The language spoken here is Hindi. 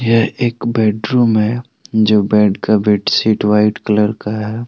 यह एक बेडरूम है जो बेड का बेडशीट व्हाइट कलर का है।